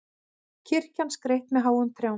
Kirkjan skreytt með háum trjám